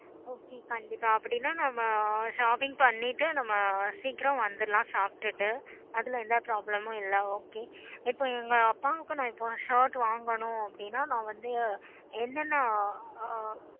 okay கண்டிப்பா அப்பிடின்னா நம்ம shopping